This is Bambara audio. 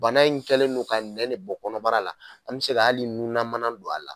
Bana in kɛlen no ka nɛ ne bɔ kɔnɔbara la an bɛ se ka hali nunna mana don a la.